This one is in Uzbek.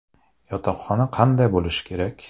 Yotoqxona qanday bo‘lishi kerak?